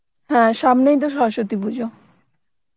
হ্যাঁ সামনেই তো সরস্বতী পুজো